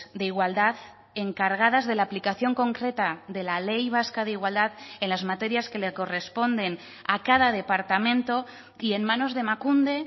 de igualdad encargadas de la aplicación concreta de la ley vasca de igualdad en las materias que le corresponden a cada departamento y en manos de emakunde